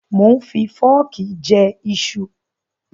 Mò ń fi fọ́ọ̀kì jẹ iṣu.